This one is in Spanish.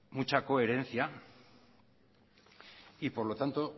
mucha coherencia y por lo tanto